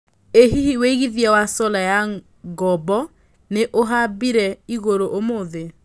ĩ hihi wĩigĩthĩa wa solar ya ngombo nĩ ũhaĩmbire igũrũ ũmũthi